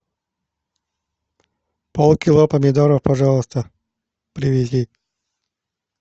полкило помидоров пожалуйста привези